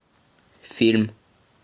фильм